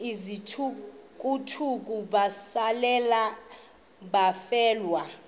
izithukuthuku besalela abafelwa